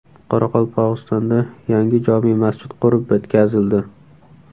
Qoraqalpog‘istonda yangi jome masjid qurib bitkazildi .